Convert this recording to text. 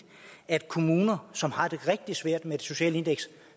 at kommuner som har det rigtig svært med det sociale indeks